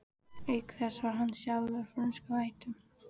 Auk þess var hann sjálfur af frönskum ættum.